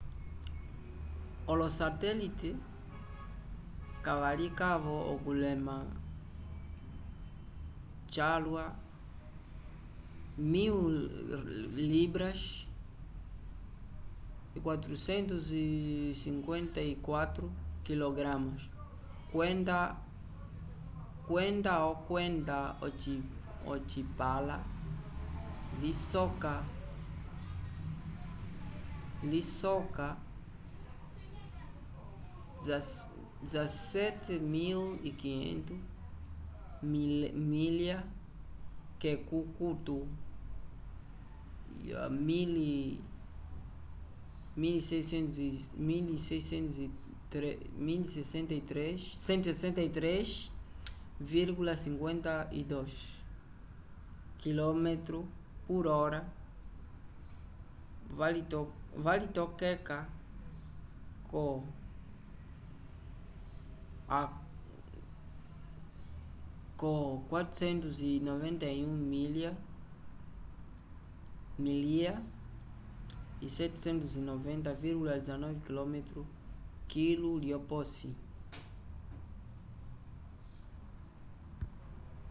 olosatelite kavalikavo okulema calwa 1.000 libras 454 kg kwenda okwenda ocipãla lisoka 17.500 milya k’ekukutu 163,52 km/h valitokeka ko 491 milya 790,19km kilu lyoposi